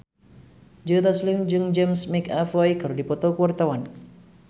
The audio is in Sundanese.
Joe Taslim jeung James McAvoy keur dipoto ku wartawan